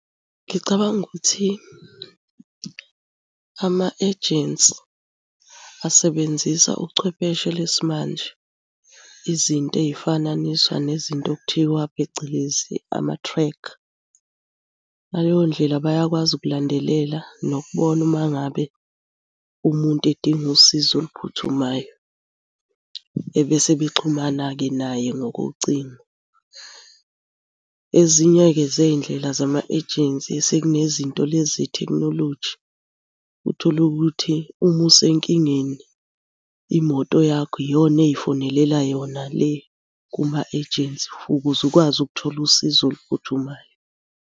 Ngicabanga ukuthi ama-ejensi asebenzisa uchwepheshe lesimanje. Izinto ey'fananiswa nezinto okuthiwa phecelezi ama-tracker. Ngaleyo ndlela bayakwazi ukulandelela nokubona uma ngabe umuntu edinga usizo oluphuthumayo, ebese bexhumana-ke naye ngokucingo. Ezinye-ke zey'ndlela zama-ejensi sekunezinto lezi zethekhinoloji, uthole ukuthi uma usenkingeni imoto yakho iyona ey'fonelela yona le kuma-ejensi ukuze ukwazi ukuthola usizo oluphuthumayo.